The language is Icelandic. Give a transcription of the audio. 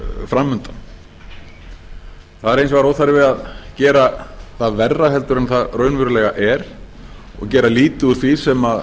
fram undan það er hins vegar óþarfi að gera það verra en það raunverulega er og gera lítið úr því sem